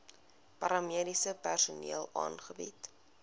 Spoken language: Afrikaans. paramediese personeel aangebied